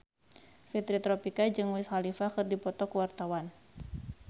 Fitri Tropika jeung Wiz Khalifa keur dipoto ku wartawan